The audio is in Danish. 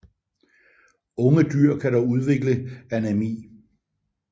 Unge dyr kan dog udvikle anæmi